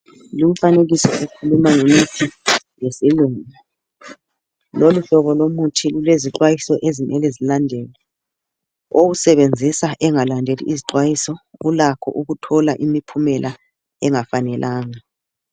Lumfanekiso ukhuluma ngemithi yesilungu. Loluhlobo lomuthi lulezixwayiso okumele zilandelwe. Owusebenzisa engalandeli izixwayiso ulakho ukuthola imiphumela engafanelanga.